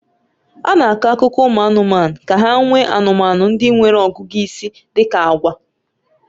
A na-akọ akụkọ ụmụ anụmanụ ka ha nwee anụmanụ ndị nwere ọgụgụ isi dị ka agwa